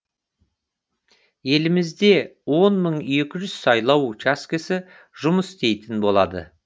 елімізде он мың екі жүз сайлау учаскесі жұмыс істейтін болады